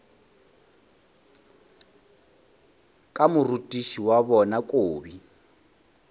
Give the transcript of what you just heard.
ka morutiši wa bona kobi